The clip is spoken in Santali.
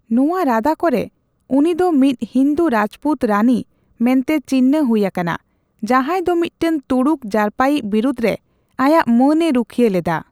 ᱱᱚᱣᱟ ᱨᱟᱫᱟ ᱠᱚᱨᱮ, ᱩᱱᱤ ᱫᱚ ᱢᱤᱫ ᱦᱤᱱᱫᱩ ᱨᱟᱡᱽᱯᱩᱛ ᱨᱟᱹᱱᱤ ᱢᱮᱱᱛᱮ ᱪᱤᱱᱦᱟᱹ ᱦᱩᱭ ᱟᱠᱟᱱᱟ, ᱡᱟᱸᱦᱟᱭ ᱫᱚ ᱢᱤᱫᱴᱟᱝ ᱛᱩᱲᱩᱠ ᱡᱟᱨᱯᱟᱭᱤᱡ ᱵᱤᱨᱩᱫᱷ ᱨᱮ ᱟᱭᱟᱜ ᱢᱟᱹᱱᱮ ᱨᱩᱠᱷᱤᱭᱟᱹ ᱞᱮᱫᱟ ᱾